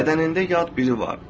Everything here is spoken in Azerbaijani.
Bədənində yad biri var.